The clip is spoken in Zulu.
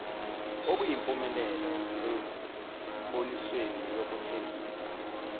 okuyimpumelelo embonisweni wokuthengisa